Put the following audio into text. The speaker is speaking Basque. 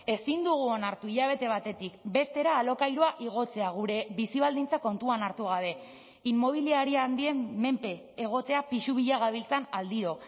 ezin dugu onartu hilabete batetik bestera alokairua igotzea gure bizi baldintza kontuan hartu gabe inmobiliaria handien menpe egotea pisu bila gabiltzan aldiro